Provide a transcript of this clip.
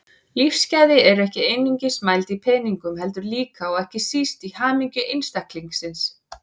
Lífsgæði eru ekki einungis mæld í peningum heldur líka, og ekki síst, í hamingju einstaklingsins.